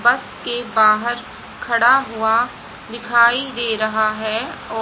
बस के बाहर खड़ा हुआ दिखाई दे रहा है।